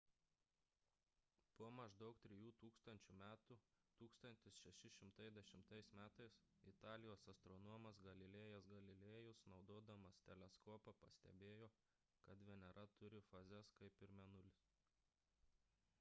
po maždaug trijų tūkstančių metų 1610 m italijos astronomas galilėjas galilėjus naudodamas teleskopą pastebėjo kad venera turi fazes kaip ir mėnulis